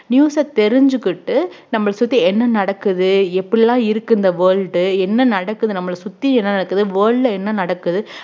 news அ தெரிஞ்சுக்கிட்டு நம்மள சுத்தி என்ன நடக்குது எப்படி எல்லாம் இருக்கு இந்த world என்ன நடக்குது நம்மள சுத்தி என்ன நடக்குது world ல என்ன நடக்குது